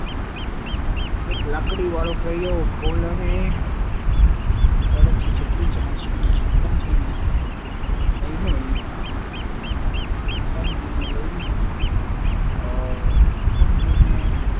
એક લાકડી વાળો પ્રયોગ chimpanzee ને લઈને